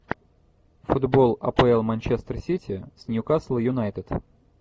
футбол апл манчестер сити с ньюкасл юнайтед